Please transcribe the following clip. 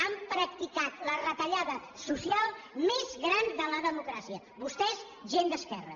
han practicat la retallada social més gran de la democràcia vostès gent d’esquerra